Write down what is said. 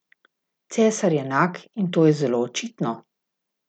Cesar je nag in to je zelo očitno!